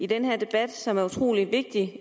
i den her debat som er utrolig vigtig